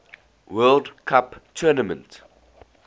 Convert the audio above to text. world cup tournament